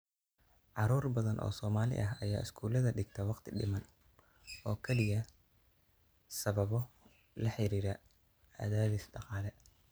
Carruur badan oo Soomaali ah ayaa iskuulada dhigta waqti-dhiman oo kaliya sababo la xiriira cadaadis dhaqaale.